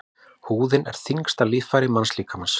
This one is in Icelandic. Húðin er þyngsta líffæri mannslíkamans.